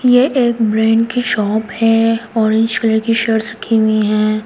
ये एक ब्रेंड की शॉप है ऑरेंज कलर की शर्ट्स हैं।